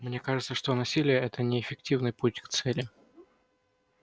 мне кажется что насилие это неэффективный путь к цели